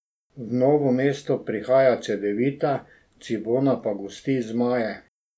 V Novo mesto prihaja Cedevita, Cibona pa gosti zmaje.